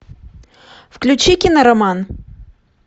включи кинороман